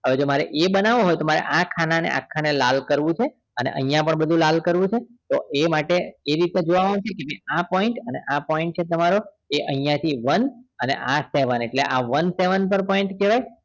હવે જો મારે એ બનાવો હોય તો મારે ખાના ને આખા ને લાલ કરવું છે અને અહિયાં પણ બધું લાલ કરવું છે તો એ માટે એ રીતે આ point અને આ point એ તમારો અહિયાં થી one આ seven એટલે one seven પર point થયો કહેવાય